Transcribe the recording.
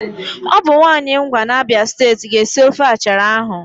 Ọ bụ nwaanyị Ngwa n'Abịa steeti ga-esi ofe achara ahụ